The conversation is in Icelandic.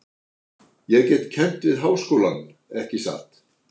Ég get kennt við háskólann, ekki satt?